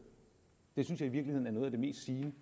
det synes jeg i virkeligheden er noget af det mest sigende